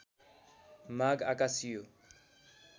माग आकाशियो